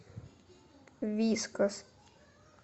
вискас